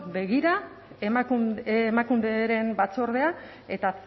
begira emakunderen batzordea eta